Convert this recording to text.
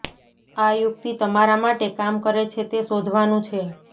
આ યુક્તિ તમારા માટે કામ કરે છે તે શોધવાનું છે